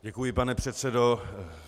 Děkuji, pane předsedo.